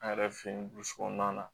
An yɛrɛ fe yen kɔnɔna na